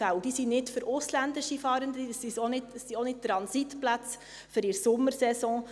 Diese Plätze sind nicht für ausländische Fahrende, es sind auch keine Transitplätze für die Sommersaison.